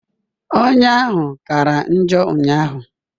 Ọnya ahụ kara njọ ụnyaahụ